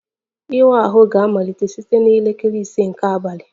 Ịwa ahụ ga-amalite site na elekere ise nke abalị